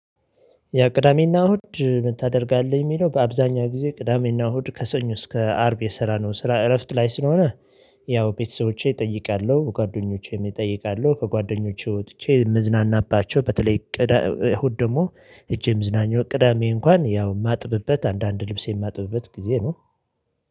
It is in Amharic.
የቅዳሜና እሁድ ምን ታደርጋለህ? የሚለው በአብዛኛው ጊዜ ቅዳሜና እሁድ ከሰኞ እስከ አርብ የሰራ ነው ስራ እረፍት ላይ ስለሆነ። ያው ቤተሰቦቼ እጠይቃለሁ ጓደኞቼም እጠይቃለሁ ከጓደኞቼ ውጥቼ ምዝናናባቸው በተለይ ቅዳሜ እሁድ ደግሞ ሄጄ መዝናኛው ቅዳሜ እንኳን ያው የማጥብበት አንዳንድ ልብሴን የማጥበበት ጊዜ ነው